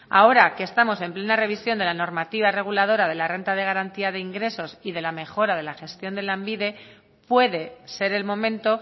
ahora que estamos en plena revisión de la normativa reguladora de la renta de garantía de ingresos y de la mejora de la gestión de lanbide puede ser el momento